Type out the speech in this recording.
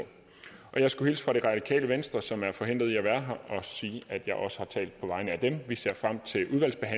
jeg skulle hilse fra det radikale venstre som er forhindret i at være her og sige at jeg også har talt på vegne af dem vi ser frem til